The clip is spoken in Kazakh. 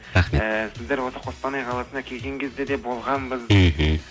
рахмет ыыы сіздер осы қостанай қаласына келген кезде де болғанбыз мхм